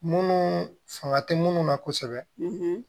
Munnu fanga te munnu na kosɛbɛ